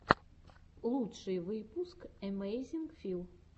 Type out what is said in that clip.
лучший выпуск эмэйзинг фил